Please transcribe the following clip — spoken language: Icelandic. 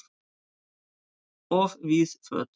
Of víð föt